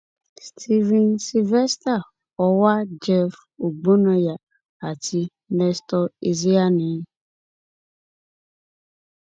stephen sylvester ọwà jeff ọgbónáyà àti nestor ezeani